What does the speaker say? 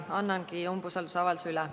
Annangi umbusaldusavalduse üle.